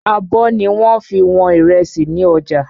Àbọ̀ ni wọ́n fi wọn ìrẹsì ni ọjà.